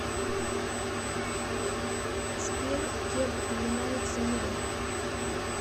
сбер где упоминается мел